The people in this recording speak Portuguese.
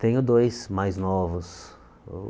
Tenho dois mais novos.